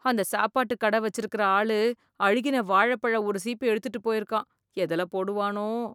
அந்த சாப்பாடுக் கட வச்சுருக்க ஆளு அழுகின வாழப்பழம் ஒரு சீப்பு எடுத்துட்டுப் போயிருக்கான், எதுல போடுவானோ.